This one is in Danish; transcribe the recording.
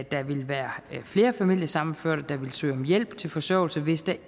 der ville være flere familiesammenførte der ville søge om hjælp til forsørgelse hvis der